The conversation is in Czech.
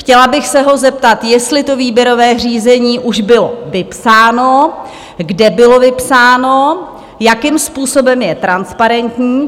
Chtěla bych se ho zeptat, jestli to výběrové řízení už bylo vypsáno, kde bylo vypsáno, jakým způsobem je transparentní?